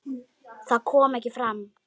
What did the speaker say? Það kom ekki fram.